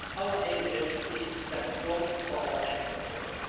Our aim here should be to stand up strongly for our export jobs.